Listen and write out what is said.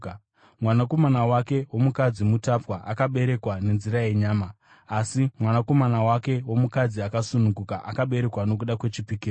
Mwanakomana wake womukadzi mutapwa akaberekwa nenzira yenyama; asi mwanakomana wake womukadzi akasununguka akaberekwa nokuda kwechipikirwa.